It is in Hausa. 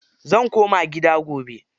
Zan koma gida gobe.